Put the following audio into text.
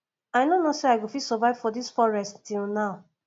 i no know say i go fit survive for dis forest till now